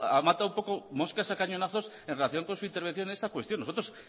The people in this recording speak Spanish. ha matado un poco moscas a cañonazos en relación con su intervención en esta cuestión nosotros